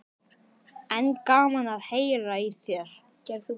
En gaman að heyra í þér.